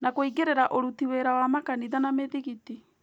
Na kũingĩrĩra ũruti wĩra wa makanitha na mĩthigiti